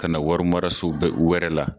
Kana warimaraso bɛ wɛrɛ la.